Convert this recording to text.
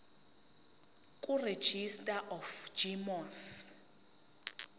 kuregistrar of gmos